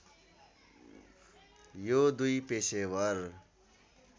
यो दुई पेशेवर